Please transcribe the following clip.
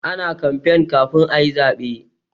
Ana kamfen kafin ayi zabe.